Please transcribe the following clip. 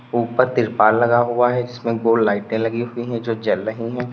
ऊपर त्रिपाल लगा हुआ हैं जिसमें गोल लाइटें लगी हुई है जो जल रही हैं।